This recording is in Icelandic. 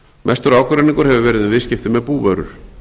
mestur ágreiningur hefur verið um viðskipti með búvörur